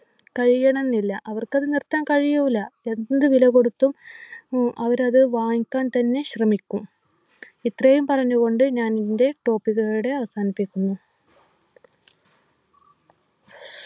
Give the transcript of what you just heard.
കഴിയണംന്നില്ല അവർക്കത് നിർത്താൻ കഴിയൂല എന്ത് വില കൊടുത്തും ഉം അവരത് വാങ്ങിക്കാൻ തന്നെ ശ്രമിക്കും ഇത്രയും പറഞ്ഞു കൊണ്ട് ഞാനെൻ്റെ topic ഇവിടെ അവസാനിപ്പിക്കുന്നു